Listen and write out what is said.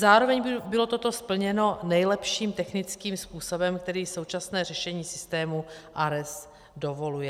Zároveň bylo toto splněno nejlepším technickým způsobem, který současné řešení systému ARES dovoluje.